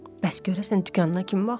Bəs görəsən dükanına kim baxır?